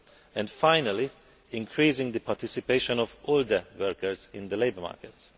and finally, increasing the participation of older workers in labour markets.